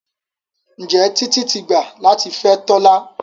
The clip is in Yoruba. Njé Titi tí gbà latí fè Tola?